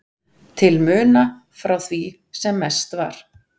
til muna frá því sem mest var.